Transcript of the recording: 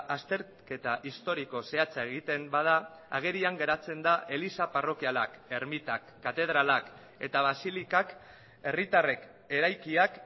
azterketa historiko zehatza egiten bada agerian geratzen da eliza parrokialak ermitak katedralak eta basilikak herritarrek eraikiak